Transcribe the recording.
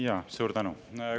Jaa, suur tänu!